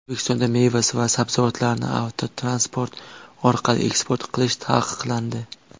O‘zbekistonda meva va sabzavotlarni avtotransport orqali eksport qilish taqiqlandi.